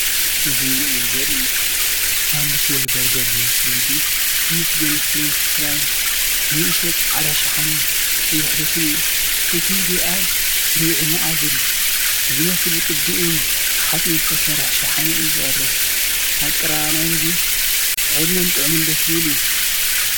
እዚ ምሉእ ምግቢ ዘርኢ እዩ:ሳንድዊች ወይ በርገር ዝመስል ምግቢ:ምስ ጎኒ ፍሬንች ፍራይን ንእሽቶ ጻዕዳ ሻሐነ ቀይሕ ሶስን እዩ። እቲ መግቢ ኣብ ርብዒ-መኣዝን ዝመስል ብቅዲ እምኒ-ሓጺን ዝተሰርሐ ሸሓነ እዩ ዝቐርብ። ኣቀራርባ ናይቲ ምግቢ ዕድመን ጥዑምን ደስ ዝበልን እዩ።